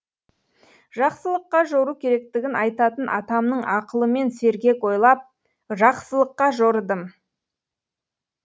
жақсылыққа жору керектігін айтатын атамның ақылымен сергек ойлап жақсылыққа жорыдым